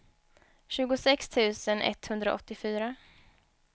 tjugosex tusen etthundraåttiofyra